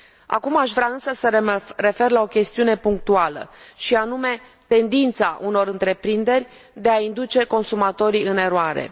Acum aș vrea, însă, să mă refer la o chestiune punctuală, și anume tendința unor întreprinderi de a induce consumatorii în eroare.